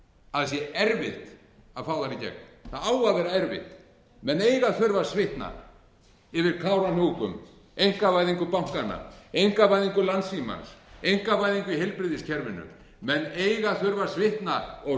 að það sé erfitt að fá þær í gegn það á að vera erfitt menn eiga að þurfa að svitna yfir kárahnjúkum einkavæðingu bankanna einkavæðingu landssímans einkavæðingu í heilbrigðiskerfinu menn eiga að þurfa að svitna og